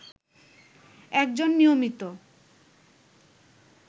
একজন নিয়মিত